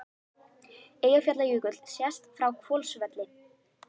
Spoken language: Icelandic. Eyjafjallajökull sést frá Hvolsvelli.